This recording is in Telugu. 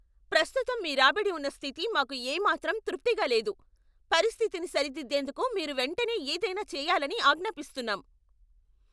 ప్రస్తుతం మీ రాబడి ఉన్న స్థితి మాకు ఏ మాత్రం తృప్తిగా లేదు, పరిస్థితిని సరిదిద్దేందుకు మీరు వెంటనే ఏదైనా చెయ్యాలని ఆజ్ఞాపిస్తున్నాం.